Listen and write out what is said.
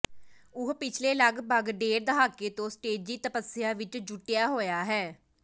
ਉਹ ਪਿਛਲੇ ਲਗਪਗ ਡੇਢ ਦਹਾਕੇ ਤੋਂ ਸਟੇਜੀ ਤਪੱਸਿਆ ਵਿਚ ਜੁਟਿਆ ਹੋਇਆ ਹੈ